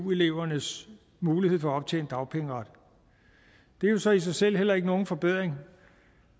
elevernes mulighed for at optjene dagpengeret det er jo så i sig selv heller ikke nogen forbedring